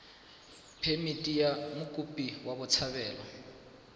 phemithi ya mokopi wa botshabelo